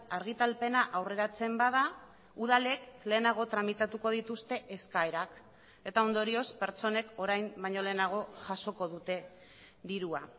argitalpena aurreratzen bada udalek lehenago tramitatuko dituzte eskaerak eta ondorioz pertsonek orain baino lehenago jasoko dute dirua